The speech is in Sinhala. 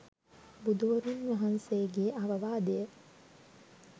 බුදුවරුන් වහන්සේගේ අවවාදය